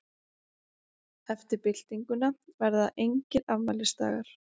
Eftir byltinguna verða engir afmælisdagar.